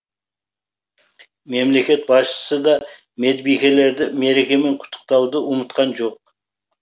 мемлекет басшысы да медбикелерді мерекемен құттықтауды ұмытқан жоқ